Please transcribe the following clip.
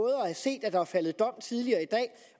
at have set at der er faldet dom tidligere i dag